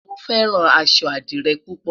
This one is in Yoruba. mo fẹràn aṣọ adire pupo